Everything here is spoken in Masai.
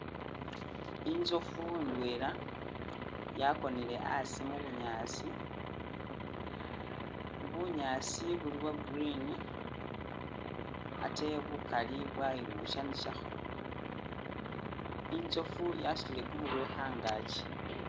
Inzofu indwela yakonele asi mu bunyaasi, bunyaasi buli bwa green ate bukali bwayibushanishakho inzofu yasutile kumurwe khangakyi